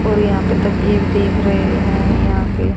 और यहां पे तकिए भी दिख रहे हैं यहां पे--